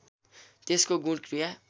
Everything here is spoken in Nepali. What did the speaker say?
त्यसको गुण क्रिया